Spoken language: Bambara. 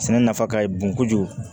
Sɛnɛ nafa ka bon kojugu